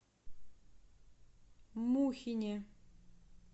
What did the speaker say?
мухине